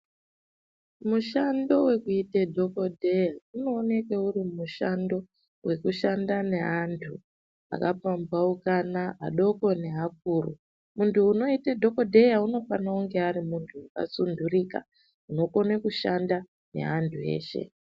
Mushando wekuite dhokodheya unooneke uri mushando wekushanda neantu ,akapamphaukana, adoko neakuru. Muntu unoite dhokodheya unofane kunge ari muntu, akasunturika unokone kushanda neantu eshe.